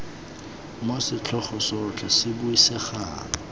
moo setlhogo sotlhe se buisegang